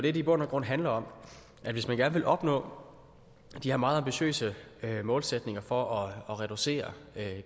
i bund og grund handler om hvis man gerne vil opnå de her meget ambitiøse målsætninger for at reducere